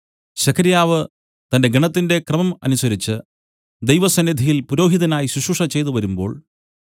സെഖര്യാവ് തന്റെ ഗണത്തിന്റെ ക്രമം അനുസരിച്ച് ദൈവസന്നിധിയിൽ പുരോഹിതനായി ശുശ്രൂഷ ചെയ്തുവരുമ്പോൾ